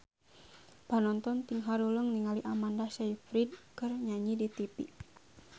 Panonton ting haruleng ningali Amanda Sayfried keur nyanyi di tipi